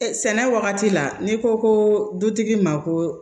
Sɛnɛ wagati la n'i ko ko dutigi ma ko